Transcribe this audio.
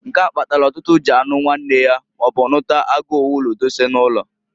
Nke a kpatalụ ọtụtụ ji anụ nwanne ha, maọbu nụta agu owulu dose n'ụnọ.